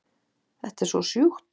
Þetta er svo sjúkt